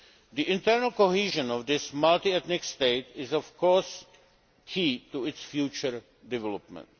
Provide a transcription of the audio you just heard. The internal cohesion of this multiethnic state is, of course, key to its future development.